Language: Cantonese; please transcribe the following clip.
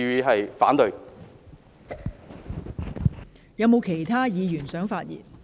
是否有其他議員想發言？